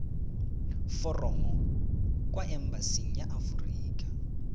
foromo kwa embasing ya aforika